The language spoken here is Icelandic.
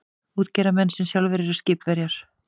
Útgerðarmenn sem sjálfir eru skipverjar.